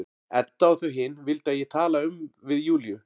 Edda og þau hin vildu að ég talaði um við Júlíu.